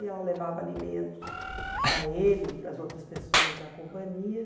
E ela levava alimentos para ele e para as outras pessoas da companhia.